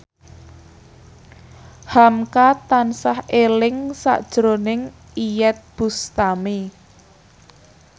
hamka tansah eling sakjroning Iyeth Bustami